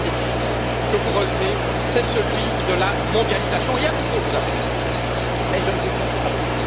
Le troisième défi que vous relevez est celui de la mondialisation et, à nouveau, vous avez raison, mais je ne vous comprends plus.